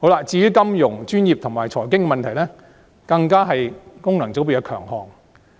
至於金融、專業及財經問題，更是功能界別的強項。